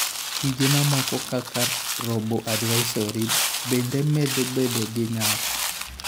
Tije mamoko, kaka robo-advisory, bende medo bedo gi nyak.